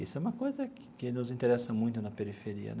Isso é uma coisa que nos interessa muito na periferia né.